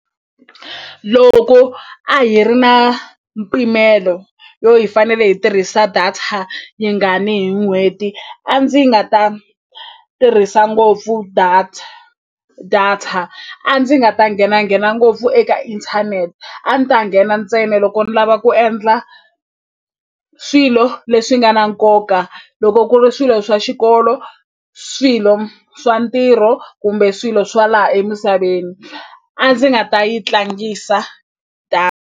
Loko a hi ri na mpimelo yo hi fanele hi tirhisa data yi nga ni hi n'hweti a ndzi nga ta tirhisa ngopfu data data a ndzi nga ta nghenanghena ngopfu eka inthanete a ni ta nghena ntsena loko ni lava ku endla swilo leswi nga na nkoka loko ku ri swilo swa xikolo swilo swa ntirho kumbe swilo swa laha emisaveni a ndzi nga ta yi tlangisa .